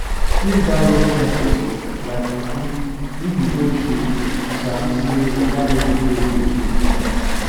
squeeze that wet compost like fufu if e hold shape you sabi say water level dey okay to use am